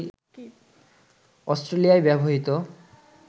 অস্ট্রেলিয়ায় ব্যবহৃত